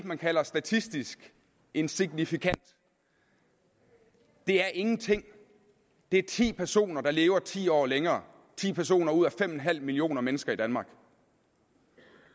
man kalder statistisk insignifikant det er ingenting det er ti personer der lever ti år længere ti personer ud af fem millioner mennesker i danmark